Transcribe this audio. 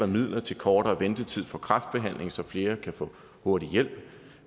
midler til kortere ventetid for kræftbehandling så flere kan få hurtig hjælp vi